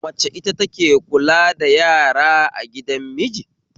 Mace ita take kula da yara a gidan miji